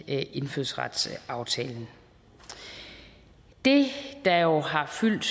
indfødsretsaftalen det der jo har fyldt